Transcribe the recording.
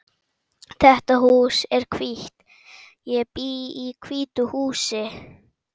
Þetta hús er hvítt. Ég bý í hvítu húsi.